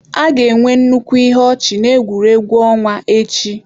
A ga-enwe nnukwu ihe ọchị na egwuregwu ọnwa echi.